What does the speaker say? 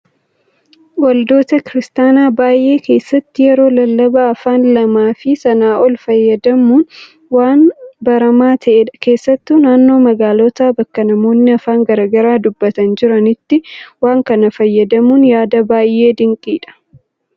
Waldoota kiristaanaa baay'ee keessatti yeroo lallabaa afaan lamaa fi sanaa ol fayyadamuun waan baramaa ta'edha. Keessattuu naannoo magaalotaa bakka namoonni afaan garaagaraa dubbatan jiranitti waan kana fayyadamuun yaada baay'ee dinqiidha.